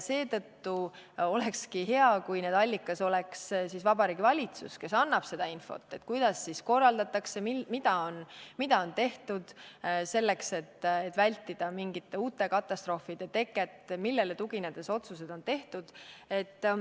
Seetõttu olekski hea, kui see allikas oleks Vabariigi Valitsus, kes annab seda infot, et kuidas korraldatakse, mida on tehtud selleks, et vältida mingite uute katastroofide teket, millele tuginedes otsused on tehtud.